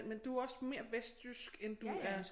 Men du er også mere vestjysk end du er